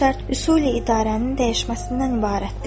O şərt üsuli idarənin dəyişməsindən ibarətdir.